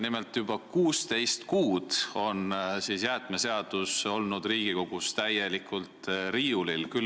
Nimelt on juba 16 kuud olnud jäätmeseadus Riigikogus riiulil.